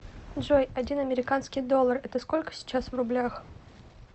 джой один американский доллар это сколько сейчас в рублях